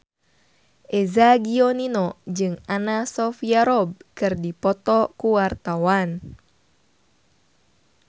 Eza Gionino jeung Anna Sophia Robb keur dipoto ku wartawan